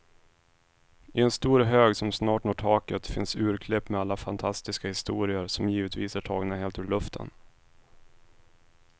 I en stor hög som snart når taket finns urklipp med alla fantastiska historier, som givetvis är tagna helt ur luften.